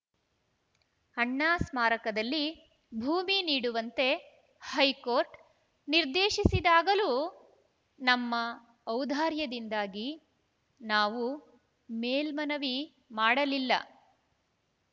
ಅಣ್ಣಾ ಸ್ಮಾರಕದಲ್ಲಿ ಭೂಮಿ ನೀಡುವಂತೆ ಹೈಕೋರ್ಟ್‌ ನಿರ್ದೇಶಿಸಿದಾಗಲೂ ನಮ್ಮ ಔದಾರ್ಯದಿಂದಾಗಿ ನಾವು ಮೇಲ್ಮನವಿ ಮಾಡಲಿಲ್ಲ